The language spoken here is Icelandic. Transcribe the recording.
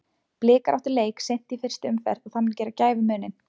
Blikar áttu leik seint í fyrstu umferð og það mun gera gæfumuninn.